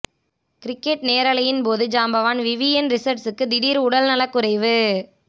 cricket நேரலையின் போது ஜாம்பவான் விவியன் ரிசர்ட்ர்ஸூக்கு திடீர் உடல் நலக்குறைவு